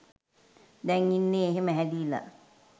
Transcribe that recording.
දැන් ඉන්නෙ එහෙම හැලිලා.